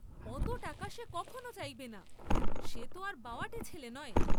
অত টাকা সে কখনো চাইবে না, সেত আর বওয়াটে ছেলে নয়।